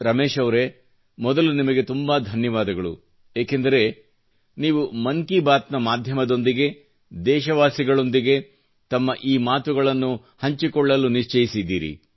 ರಮೇಶ್ ಅವರೇ ಮೊದಲು ನಿಮಗೆ ತುಂಬಾ ಧನ್ಯವಾದಗಳು ಯಾಕಂದರೆ ನೀವು ಮನ್ ಕೀ ಬಾತ್ ನ ಮಾದ್ಯಮದೊಂದಿಗೆ ದೇಶವಾಸಿಗಳೊಂದಿಗೆ ತಮ್ಮ ಈ ಮಾತುಗಳನ್ನು ಶೇರ್ ಮಾಡಲು ನಿಶ್ಚಯಿಸಿದ್ದೀರಿ